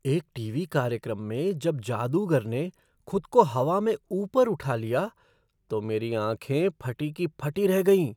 एक टीवी कार्यक्रम में जब जादूगर ने खुद को हवा में ऊपर उठा लिया तो मेरी आँखें फटी की फटी रही गईं।